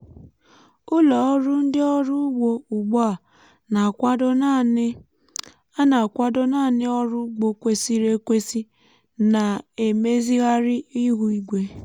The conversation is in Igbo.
ụlọ ọrụ ndị ọrụ ugbo ugbu a na-akwado naanị a na-akwado naanị ọrụ ugbo kwesịrị ekwesị na-emezigharị ihu igwe.